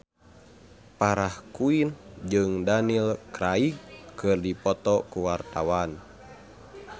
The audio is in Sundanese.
Farah Quinn jeung Daniel Craig keur dipoto ku wartawan